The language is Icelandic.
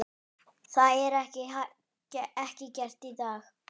Það er ekki gert í dag!